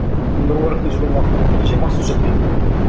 мен нұр мубаракта жүрген уақытта мен күніне жиырма ақ сөз жаттайтынмын да